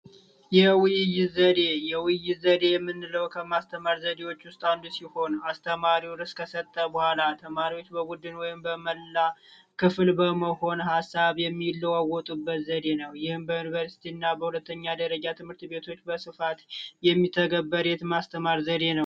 የውይይት ዘዴ የውይይት ዘዴ የምንለው ከማስተማር ዘዴዎች ውስጥ አንዱ ሲሆን አስተማሪው ረዕስ ከሰጠ በኋላ ተማሪዎች ወይም በመላ ክፍል መሆን ሃሳብ የሚለዋወጡበት ዘዴ ነው። በዩንቨርስቲና ሁለተኛ ደረጃ ትምህርት ቤቶች የሚተገበር የማስተማር ዘዴ ነው።